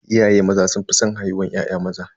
Iyaye maza sun fi san haihuwar ya'ya maza.